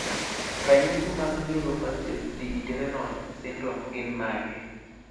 Ranyisi mag Neurofaciodigitorenal syndrome gin mage?